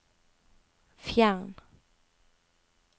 fjern